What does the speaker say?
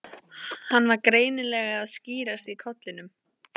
Hann var greinilega að skýrast í kollinum.